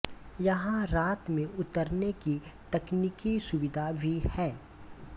यहाँ रात में उतरने की तकनीकी सुविधा भी है